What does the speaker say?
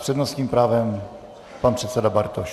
S přednostním právem pan předseda Bartoš.